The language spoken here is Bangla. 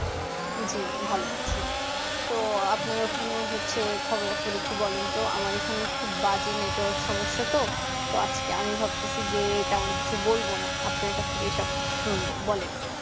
জি ভালো আছি তো ওখানে হচ্ছে খবরা খবর একটু বলেন তো আমার এখানে খুব বাজে network সমস্যা তো তো আজকে আমি ভাবতেছি যে তেমন কিছু বলবো না আপনার কাছ থেকেই সবকিছু শুনবো বলেন